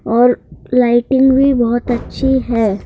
औरलाइटिंग भी बहुत अच्छी है।